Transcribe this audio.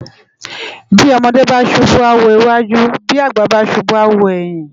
Bi òmòdè bá súbú á wó iwájú bi ágbà bá súbù á wó èyin